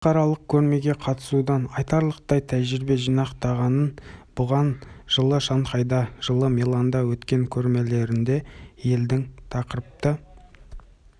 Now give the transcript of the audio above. халықаралық көрмеге қатысудан айтарлықтай тәжірибе жинақтағанын бұған жылы шанхайда жылы миланда өткен көрмелерінде елдің тақырыпты